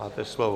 Máte slovo.